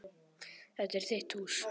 Þetta er þitt hús.